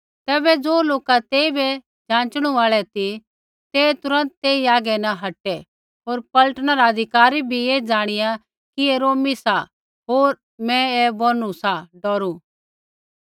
तैबै ज़ो लोका तेइबै जाँचणू आल़ै ती ते तुरन्त तेई आगै न हटै होर पलटना रा अधिकारी भी ऐ ज़ाणिया कि ऐ रोमी सा होर मैं ऐ बोनू सा डौरू